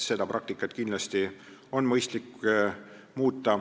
Seda praktikat on kindlasti mõistlik muuta.